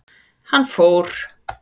Hann fór.